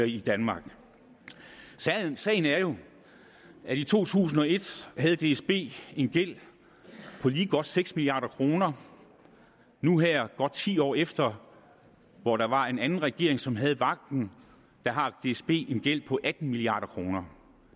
i danmark sagen er jo at i to tusind og et havde dsb en gæld på lige godt seks milliard kroner nu her godt ti år efter hvor der var en anden regering som havde vagten har dsb en gæld på atten milliard kroner